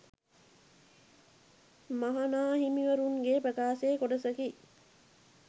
මහ නා හිමිවරුන් ගේ ප්‍රකාශයේ කොටසකි